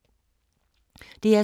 DR2